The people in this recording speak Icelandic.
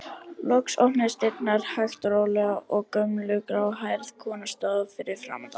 Loks opnuðust dyrnar hægt og rólega og gömul, gráhærð kona stóð fyrir framan þá.